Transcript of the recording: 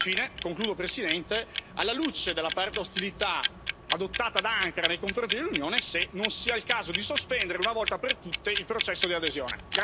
Infine, concludo signora Presidente, alla luce dell'aperta ostilità adottata da Ankara nei confronti dell'Unione, mi chiedo se non sia il caso di sospendere, una volta per tutte, il processo di adesione.